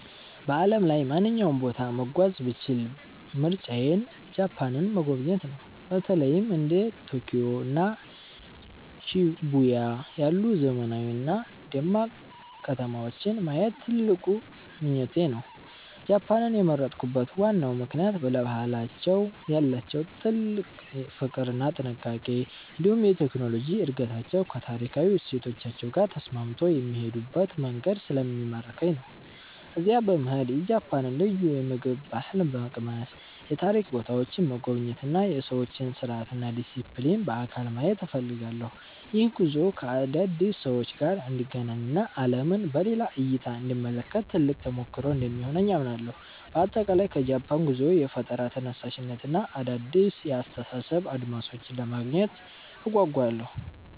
በዓለም ላይ ማንኛውንም ቦታ መጓዝ ብችል ምርጫዬ ጃፓንን መጎብኘት ነው። በተለይም እንደ ቶኪዮ እና ሺቡያ ያሉ ዘመናዊና ደማቅ ከተማዎችን ማየት ትልቅ ምኞቴ ነው። ጃፓንን የመረጥኩበት ዋናው ምክንያት ለባህላቸው ያላቸውን ጥልቅ ፍቅር እና ጥንቃቄ፣ እንዲሁም የቴክኖሎጂ እድገታቸው ከታሪካዊ እሴቶቻቸው ጋር ተስማምቶ የሚሄዱበት መንገድ ስለሚማርከኝ ነው። እዚያ በመሄድ የጃፓንን ልዩ የምግብ ባህል መቅመስ፣ የታሪክ ቦታዎችን መጎብኘት እና የሰዎችን ስርዓትና ዲሲፕሊን በአካል ማየት እፈልጋለሁ። ይህ ጉዞ ከአዳዲስ ሰዎች ጋር እንድገናኝ እና ዓለምን በሌላ እይታ እንድመለከት ትልቅ ተሞክሮ እንደሚሆነኝ አምናለሁ። በአጠቃላይ ከጃፓን ጉዞዬ የፈጠራ ተነሳሽነትን እና አዳዲስ የአስተሳሰብ አድማሶችን ለማግኘት እጓጓለሁ።